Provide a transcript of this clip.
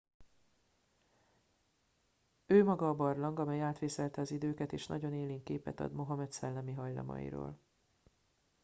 ő maga a barlang amely átvészelte az időket és nagyon élénk képet ad mohamed szellemi hajlamairól